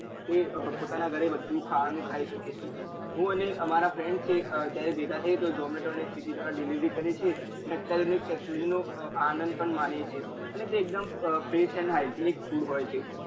એ પોતાના ગરે બધું ખાવાનું ખાઈ શકે છે હું અને મારા friend છે જયારે ભેગા થઈએ તો ઝોમેટો સ્વિગી દ્વારા delivery કરીએ છીએ અને અત્યાર ની technology નો આનંદ પણ માનીએ છીએ અને તે એક ડેમ fresh and hygienic food હોય છે